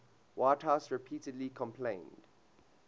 whitehouse repeatedly complained